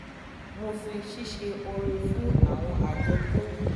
mo fi ṣíṣe ore fún àwọn àjọ tó